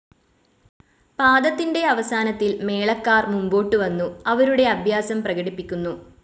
പാദത്തിൻ്റെ അവസാനത്തിൽ മേളക്കാർ മുമ്പോട്ടുവന്നു അവരുടെ അഭ്യാസം പ്രകടിപ്പിക്കുന്നു.